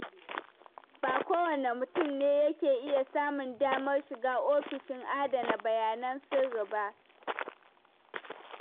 Ba kowane mutum ne yake iya samun damar shiga ofishin adana bayanan sirri ba.